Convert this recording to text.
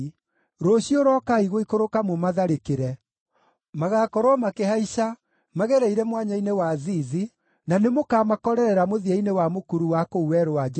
Rũciũ, rokai gũikũrũka mũmatharĩkĩre. Magaakorwo makĩhaica magereire Mwanya-inĩ wa Zizi na nĩmũkamakorerera mũthia-inĩ wa mũkuru wa kũu Werũ wa Jerueli.